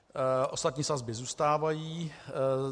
Ostatní sazby zůstávají.